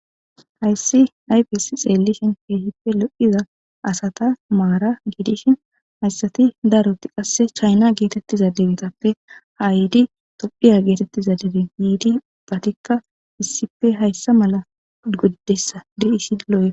hayssi yfes xeellishin keehippe lo7iza asata maara giidishin hayssati daroti qasse chayna geetettiza debetappe ha yiidi tophiya geetettiza debe yiidi batikka issife hayssa mala goddessa deisi looya